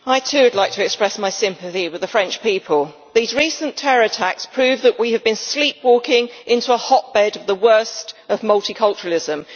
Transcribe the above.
Madam President, I too would like to express my sympathy with the French people. These recent terror attacks prove that we have been sleepwalking into a hotbed of the worst of multiculturalism.